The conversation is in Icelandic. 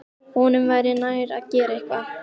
Honum væri nær að gera eitthvað.